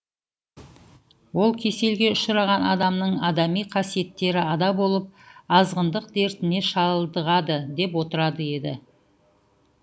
ол кеселге ұшыраған адамның адами қасиеттері ада болып азғындық дертіне шалдығады деп отыратын еді